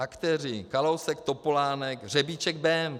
Aktéři: Kalousek, Topolánek, Řebíček, Bém.